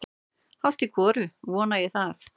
Hálft í hvoru vona ég það.